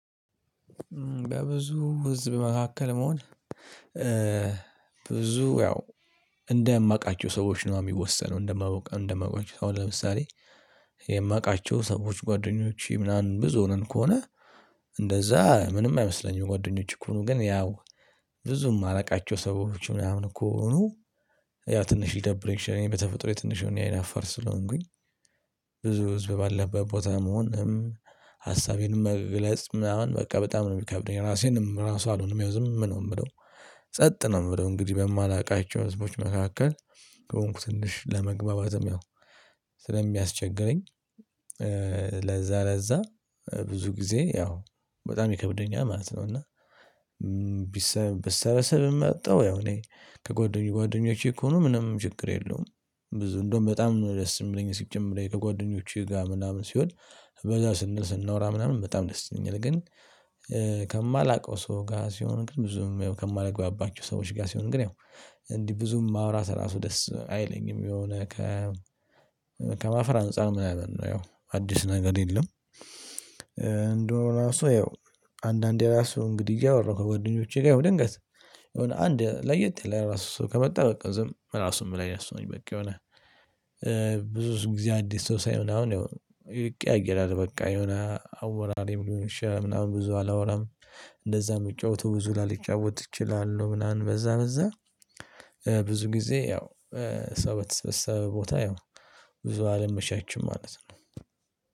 በብዙ ህዝብ መካከል መሆን ብዙ ያው እንደማውቃቸው ዎች ነው ሚወሰነው። እንደማ እንደማውቃቸው እንደማውቃቸው አሁን ለምሳሌ የማውቃቸው ሰዎች ጓደኞቼ ምናምን ብዙ ሆነን ከሆነ እንደዛ ምንም አይመስለኝም። ጓደኞቼ ከሆኑ ግን ያው ብዙም ማላውቃቸው ሰዎች ምናምን እኮ ሆኖ ያ ትንሽ ሊይደብሩኝ ይችላል። እኔ በተፈጥሮ የትንሽ እኔ አይነ አፋር ስለሆንኩኝ ብዙ ህዝብ ባለበት ቦታ መሆንም ሀሳቤንም መግለጽ ምናምን በቃ በጣም ነው የሚከብደኝ። ራሴንም ራሱ አልሆንም ያው ዝም ነው የምለው። ጸጥ ነው የምለው። እንግዲህ በማላውቃቸው ህዝቦች መካከል ከሆንኩ ትንሽ ለመግባባትም ያው ስለሚያስቸግረኝ ለዛ ለዛ ብዙ ጊዜ ያው በጣም ይከብደኛል ማለት ነው እና ብሰ ብሰበሰብ መጣሁ ያው እኔ ከጓደኞቼ እኮ ነው ምንም ችግር የለውም። ብዙ እንደውም በጣም ደስ የሚለኝ ሲጀመር ከጓደኞችህ ጋር ምናምን ሲሆን በዛ ስንል ስናወራ ምናምን በጣም ደስይለኛል ግን ከማላውቀው ሰው ጋር ሲሆን ብዙም ከማልግባባቸው ሰዎች ጋር ሲሆን ግን ያው እንዲህ ብዙም ማውራት ራሱ ደስ አይለኝም የሆነ ከ ከማፈር አንፃር ምናምን ነው። ያው አዲስ ነገር የለም እንዲህ ሆኖ ራሱ ያው አንዳንዴ ራሱ እንግዲህ እያወራህ ከጓደኞቼ ጋር ድንገት የሆነ አንድ ለየት ያለ ራሱ ሰው ከመጣ በቃ ዝም ራሱም ላይ ያስተውኝ በቃ የሆነ ብዙ ጊዜ አዲስ ሰው ሳይ ምናምን ይቀያየራል በቃ የሆነ አወራሬ ምንም ብዙ አላወራም እንደዛ የምጫወተው ብዙ ላልጫወት እችላለሁ ምናምን በዛ በዛ ብዙ ጊዜ ያው ሰው በተሰበሰበ ቦታ ያው ብዙ አለም መሻችም ማለት ነው።